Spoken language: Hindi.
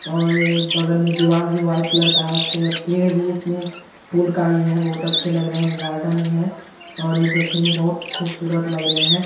और ये बगल में दीवाल भी वाइट कलर का है उसके पेड़ भी इसमें फूल का ही है बहोत अच्छे लग रहे हैं ये गार्डन है और ये देखने में बहुत खुबसूरत लग रहे हैं।